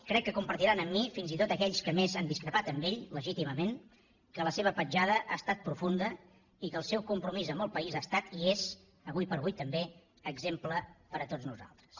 crec que compartiran amb mi fins i tot aquells que més han discrepat d’ell legítimament que la seva petjada ha estat profunda i que el seu compromís amb el país ha estat i és ara per ara també exemple per a tots nosaltres